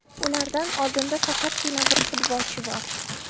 Ulardan oldinda faqatgina bir futbolchi bor.